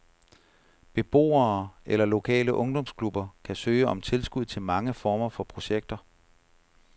Beboere eller lokale ungdomsklubber kan søge om tilskud til mange former for projekter.